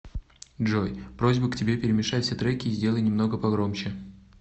джой просьба к тебе перемешай все треки и сделай немного погромче